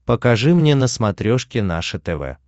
покажи мне на смотрешке наше тв